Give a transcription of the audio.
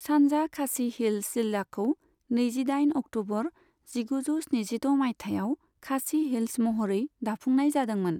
सानजा खासि हिल्स जिल्लाखौ नैजिदाइन अक्ट'बर जिगुजौ स्निजिद' मायथाइयाव खासि हिल्स महरै दाफुंनाय जादोंमोन।